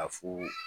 Ka fu